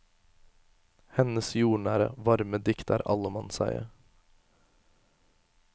Hennes jordnære, varme dikt er allemannseie.